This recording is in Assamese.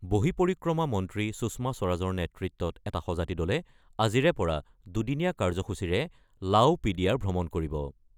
বহিঃপৰিক্ৰমা মন্ত্ৰী সুষমা স্বৰাজৰ নেতৃত্বত এটা সঁজাতি দলে আজিৰে পৰা দুদিনীয়া কাৰ্যসূচীৰে ভ্ৰমণ কৰিব।